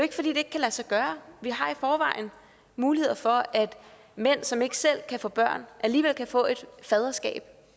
ikke kan lade sig gøre vi har i forvejen muligheder for at mænd som ikke selv kan få børn alligevel kan få et faderskab